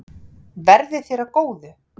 Verði þér að góðu.